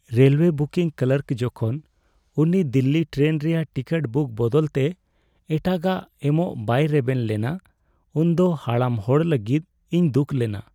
Railway booking clerk ᱡᱚᱠᱷᱚᱱ ᱩᱱᱤ Delhi train ᱨᱮᱭᱟᱜ ᱴᱤᱠᱤᱴ ᱵᱩᱠ ᱵᱚᱫᱚᱞᱛᱮ ᱮᱴᱟᱜᱟᱜ ᱮᱢᱚᱜ ᱵᱟᱭ ᱨᱮᱵᱮᱱ ᱞᱮᱱᱟ ᱩᱱᱫᱚ ᱦᱟᱲᱟᱢ ᱦᱚᱲ ᱞᱟᱹᱜᱤᱫ ᱤᱧ ᱫᱩᱠ ᱞᱮᱱᱟ ᱾